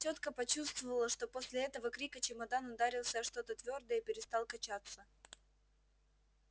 тётка почувствовала что после этого крика чемодан ударился о что-то твёрдое и перестал качаться